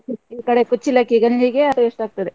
ಈ ಕಡೆ ಕುಚ್ಚಲಕ್ಕಿ ಗಂಜಿಗೆ taste ಆಗ್ತದೆ.